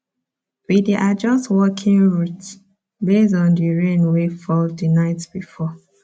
we dey adjust walking routes based on the rain wey fall the night before